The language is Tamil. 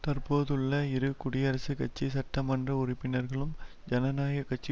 தற்போதுள்ள இரு குடியரசுக் கட்சி சட்ட மன்ற உறுப்பினர்களும் ஜனநாயக கட்சி